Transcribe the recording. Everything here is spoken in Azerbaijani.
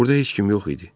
Burda heç kim yox idi.